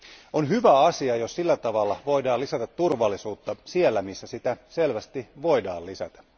On hyvä asia, jos sillä tavalla voidaan lisätä turvallisuutta siellä, missä sitä selvästi voidaan lisätä.